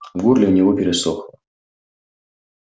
в горле у него пересохло